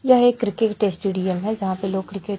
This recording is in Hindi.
यह एक क्रिकेट स्टेडियम है जहां पे लोग क्रिकेट --